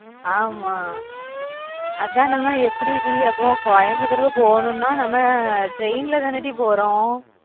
ஆமா அதான் நம்ம எப்பிடி டி அதுவும் Coimbatore க்கு போகணும்ன்னா நம்ம train ல தான டி போறோம்